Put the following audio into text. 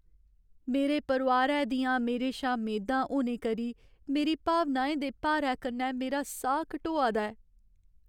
मेरे परोआरै दियां मेरे शा मेदां होने करी मेरी भावनाएं दे भारै कन्नै मेरा साह् घटोआ दा ऐ।